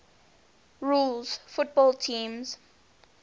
rules football teams